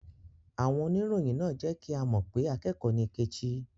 Àwon onirọ̀yìn náà jẹ́ kí á mọ́ pé àkẹ́kọ̀ nì Kẹ́chì